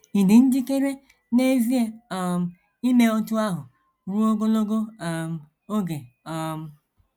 Ị̀ dị njikere n’ezie um ime otú ahụ ruo ogologo um oge? um